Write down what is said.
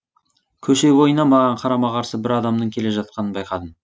көше бойына маған қарама қарсы бір адамның келе жатқанын байқадым